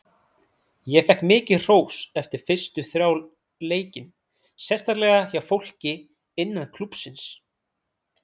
Ég fékk mikið hrós eftir fyrstu þrjá leikin, sérstaklega hjá fólki innan klúbbsins.